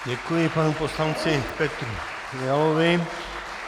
Děkuji panu poslanci Petru Fialovi.